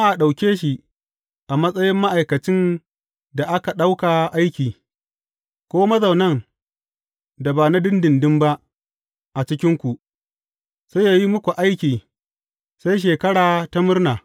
Amma a ɗauke shi a matsayin ma’aikacin da aka ɗauka aiki, ko mazaunan da ba na ɗinɗinɗin ba a cikinku, sai yă yi muku aiki sai Shekara ta Murna.